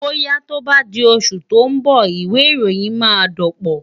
Bóyá tó bá di oṣù tó ń bọ̀, ìwẹ̀ ìròyìn máa dọ̀pọ̀.